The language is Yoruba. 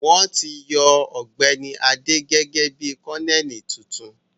Wọ́n ti yan Ọ̀gbẹ́ni Adé gẹ́gẹ́ bí Kọ́nẹ́ẹ̀lì tuntun